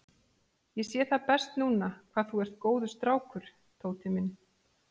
Ég sé það best núna hvað þú ert góður strákur, Tóti minn.